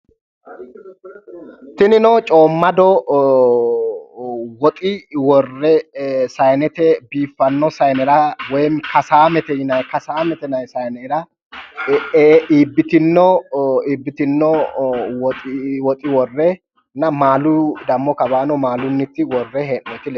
Tinino coommado woxi worre saayiinete biiffanno saayiinera woyi kasaamete yinayi saanera iibbitinno woxi worre maalunni dammo kawaanni maala worre hee'noyiti leeltawo.